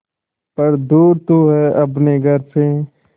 पर दूर तू है अपने घर से